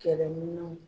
Kɛlɛminɛnw